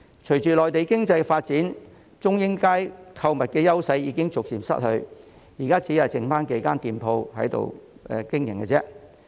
隨着內地經濟發展，中英街購物的優勢逐漸失去，現在只餘下數間店鋪在那裏經營。